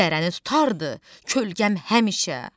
dərəni tutardı kölgəm həmişə.